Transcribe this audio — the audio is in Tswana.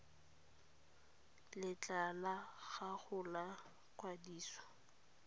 letlha la gago la kwadiso